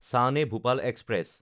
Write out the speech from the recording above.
Shan-e-Bhopal express